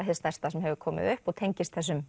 hið stærsta sem hefur komið upp og tengist þessum